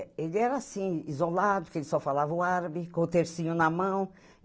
É, ele era assim, isolado, que ele só falava o árabe, com o tercinho na mão.